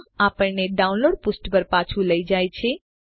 આ આપણને ડાઉનલોડ પુષ્ઠ પર પાછું લઇ જાય છે